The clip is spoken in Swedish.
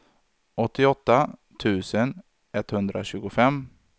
åttioåtta tusen etthundratjugofem